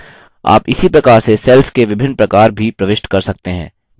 आप इसी प्रकार से cells के विभिन्न प्रकार भी प्रविष्ट कर सकते हैं